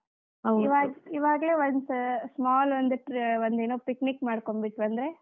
ಇವಾಗ್~ ಇವಾಗ್ಲೇ once small ಒಂದ್, ಒಂದ್ ಏನೋ picnic ಮಾಡ್ಕೊಂಡ್ಬಿಟ್ವಿ ಅಂದ್ರೆ.